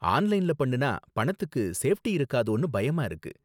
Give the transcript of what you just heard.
ஆன்லைன்ல பண்ணுனா பணத்துக்கு சேஃப்டி இருக்காதோன்னு பயமா இருக்கு.